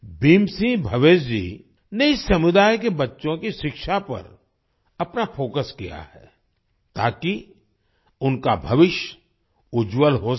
भीम सिंह भवेश जी ने इस समुदाय के बच्चों की शिक्षा पर अपना फोकस किया है ताकि उनका भविष्य उज्ज्वल हो सके